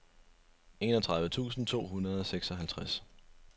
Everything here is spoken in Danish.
enogtredive tusind to hundrede og seksoghalvtreds